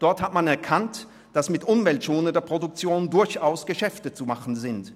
Dort hat man erkannt, dass mit umweltschonender Produktion durchaus Geschäfte zu machen sind.